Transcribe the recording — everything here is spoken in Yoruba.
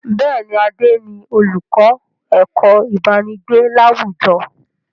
Bẹ́ẹ̀ni, Adé ni olùkọ́ ẹ̀kọ́ ibanigbe láwùjọ.